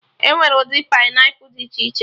Enwere ụdị painiapụlụ dị iche iche